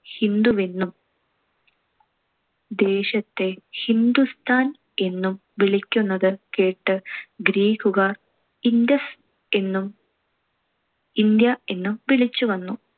ഹിന്ദുവെന്നും ദേശത്തെ ഹിന്ദുസ്ഥാൻ എന്നും വിളിക്കുന്നത് കേട്ട് ഗ്രീക്കുകാർ Indus എന്നും ഇന്ത്യ എന്നും വിളിച്ചുവന്നു.